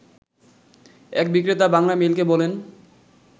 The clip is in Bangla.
এক বিক্রেতা বাংলামেইলকে বলেন